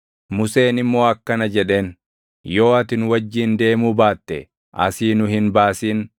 Museen immoo akkana jedheen; “Yoo ati nu wajjin deemuu baate, asii nu hin baasin.